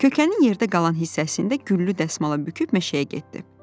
Kökənin yerdə qalan hissəsində güllü dəsmala büküb meşəyə getdi.